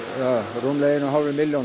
rúmlega einni og hálfri milljón